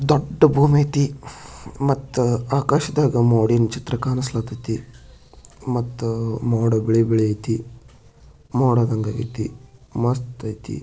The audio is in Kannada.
ದೊಡ್ಡ ಭೂಮಿ ಐತೆ ಮತ್ತು ಆಕಾಶದಾಗ ನೋಡಿ ಚಿತ್ರ ಕಾಣಿಸ್ತಾ ಇದೆ ಮತ್ತು ಮತ್ತು ಮೋಡ ಬಿಡಿ ಐತಿ ಮೋಡದಂಗೈತಿ ಮಸ್ತ್ ಇದೆ.